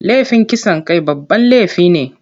Laifin kisan kai babban laifi ne.